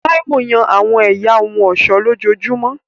Táíwò yan àwọn ẹ̀yà ohun ọ̀ṣọ́ lójoojúmọ́